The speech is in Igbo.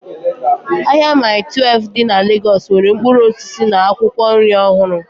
Ahịa Maii Twelfu dị na Legọs nwere mkpụrụ osisi na akwụkwọ nri ọhụrụ